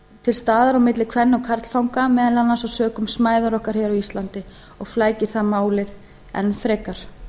til staðar á milli kven og karlfanga meðal annars sökum smæðar okkar hér á íslandi og flækir það málið enn frekar